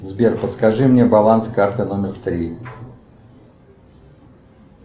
сбер подскажи мне баланс карты номер три